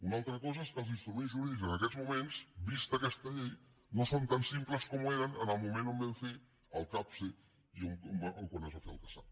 una altra cosa és que els instruments jurídics en aquests moments vista aquesta llei no són tan simples com eren en el moment que vam fer el capse o quan es va fer el casap